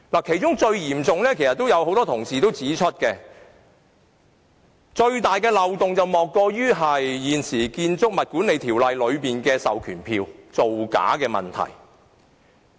其中最嚴重的漏洞——其實多位同事已指出——莫過於現時《建築物管理條例》下的授權書造假的問題。